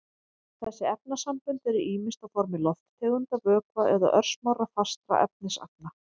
Þessi efnasambönd eru ýmist á formi lofttegunda, vökva eða örsmárra fastra efnisagna.